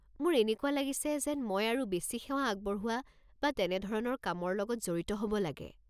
মোৰ এনেকুৱা লাগিছে যেন মই আৰু বেছি সেৱা আগবঢ়োৱা বা তেনে ধৰণৰ কামৰ লগত জড়িত হ'ব লাগে।